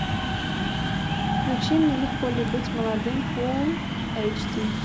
включи мне легко ли быть молодым фулл эйч ди